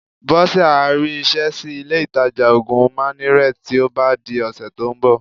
Bọ́sẹ̀ á rí iṣẹ́ sí ilé-ìtajà òògùn Minnaret tí ó bá di ọ̀sẹ̀ tó ń bọ̀